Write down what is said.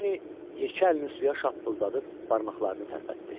Lenni yekə əlini suya şappıldadıb barmaqlarını tərpətdi.